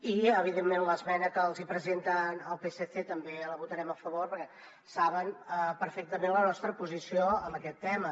i evidentment l’esmena que els hi presenta el psc també la votarem a favor perquè saben perfectament la nostra posició en aquest tema